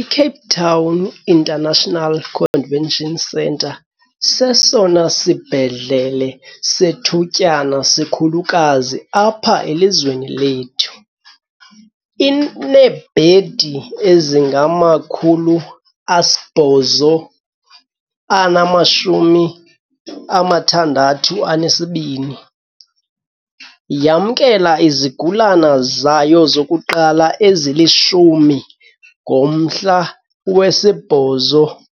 I-Cape Town International Convention Centre, sesona sibhedlele sethutyana sikhulukazi apha elizweni lethu, ineebhedi ezingama-862. Yamkela izigulane zayo zokuqala ezili-10 ngomhla we-8